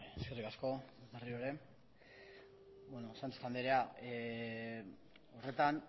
eskerrik asko berriro ere sánchez andrea horretan